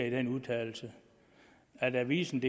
i den udtalelse avisendk